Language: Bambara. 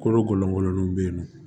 Kolokololenw bɛ yen nɔ